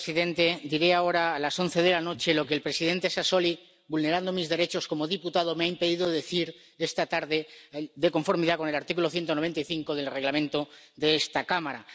Señor presidente, diría ahora, a las 11 de la noche, lo que el presidente Sassoli, vulnerando mis derechos como diputado, me ha impedido decir esta tarde, de conformidad con el artículo 195 del Reglamento de esta Cámara.